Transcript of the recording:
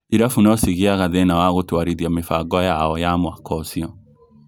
Irabu no cigĩaga thĩina wa gũtwarithia mĩbango yao ya mwaka ũcio